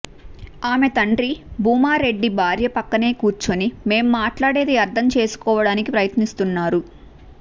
ఆమె తండ్రి భూమారెడ్డి భార్య పక్కనే కూర్చుని మేం మాట్లాడేది అర్థం చేసుకోవడానికి ప్రయత్నిస్తున్నారు